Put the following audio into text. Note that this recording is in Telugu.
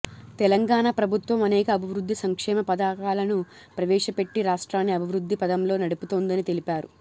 తెలంగాణ ప్రభుత్వం అనేక అభివృద్ధి సంక్షేమ పథకాలను ప్రవేశపెట్టి రాష్ట్రాన్ని అభివృద్ధి పథంలో నడుపుతోందని తెలిపారు